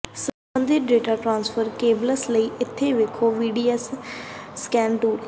ਸਬੰਧਤ data transfer cables ਲਈ ਇੱਥੇ ਵੇਖੋ ਵੀਸੀਡੀਐਸ ਸਕੈਨ ਟੂਲ